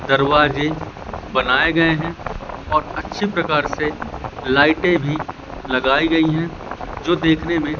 दरवाजे बनाए गए है और अच्छे प्रकार से लाइटे भी लगाई गई है जो देखने में--